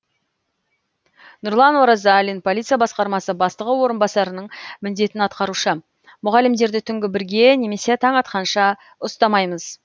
нұрлан оразалин полиция басқармасы бастығы орынбасарының міндетін атқарушы мұғалімдерді түнгі бірге немесе таң атқанша ұстамаймыз